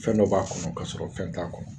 Fɛn dɔ b'a kɔnɔ k'a sɔrɔ fɛn t'a kɔnɔ